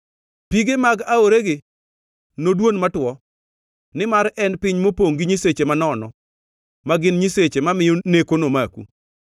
Pige mag aoregi nodwon matuo. Nimar en piny mopongʼ gi nyiseche manono, ma gin nyiseche mamiyo neko nomaku.